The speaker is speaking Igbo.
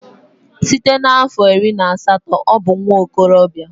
Site na afo iri na asatọ ọ bụ nwa okorobịa